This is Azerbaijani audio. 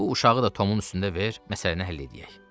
Bu uşağı da Tomun üstündə ver, məsələni həll eləyək.